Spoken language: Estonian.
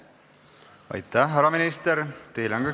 Aitäh!